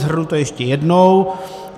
Shrnu to ještě jednou.